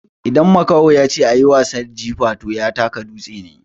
Idan makaho ya ce "a yi wasan jifa" to ya taka dutse ne.